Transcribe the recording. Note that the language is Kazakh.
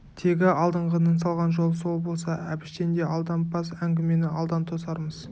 тегі алдыңғының салған жолы сол болса әбіштен де алдампаз әңгімені алдан тосармыз